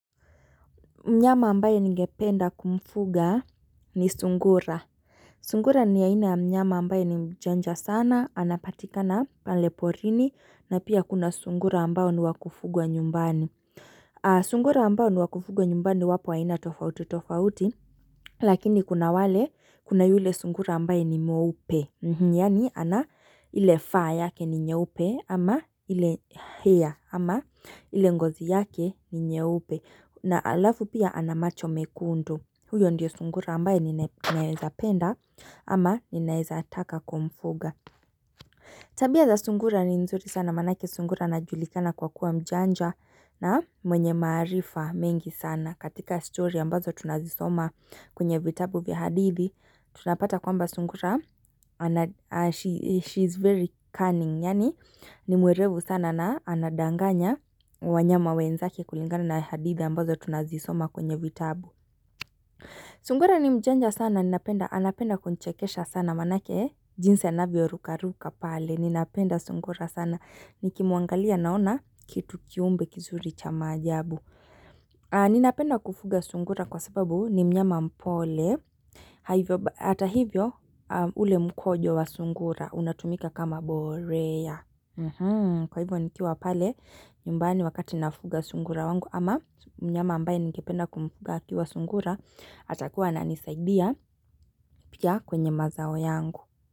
Mnyama ambaye ningependa kumfuga ni sungura. Sungura ni ya ina mnyama ambaye ni mjanja sana, anapatikana pale porini, na pia kuna sungura ambao ni wakufungwa nyumbani. Sungura ambao ni wakufungwa nyumbani iwapo wa ina tofauti tofauti, lakini kuna wale kuna yule sungura ambaye ni mweupe. Yani ana ile fur yake ni nyeupe ama ile hair ama ile ngozi yake ni nyeupe na alafu pia ana macho mekundu huyo ndio sungura ambaye nina ninaeza penda ama ninaeza taka kumfunga. Tabia za sungura ni nzuri sana maanake sungura ana julikana kwa kuwa mjanja na mwenye maarifa mengi sana katika story ambazo tunazisoma kwenye vitabu vya hadithi tunapata kwamba sungura she is very cunning yaani ni mwerevu sana na anadanganya wanyama wenzake kulingana na hadithi ambazo tunazisoma kwenye vitabu sungura ni mjanja sana ninapenda anapenda kunchekesha sana maanake jinsi anavyo ruka ruka pale ninapenda sungura sana nikimuangalia naona kitu kiumbe kizuri cha maajbu Ninapenda kufuga sungura kwa sababu ni mnyama mpole Hata hivyo ule mkojo wa sungura unatumika kama borea Kwa hivyo nikiwa pale nyumbani wakati nafuga sungura wangu ama mnyama ambaye ningependa kumfuga akiwa sungura atakuwa ananisaidia pia kwenye mazao yangu.